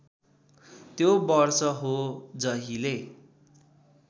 त्यो वर्ष हो जहिले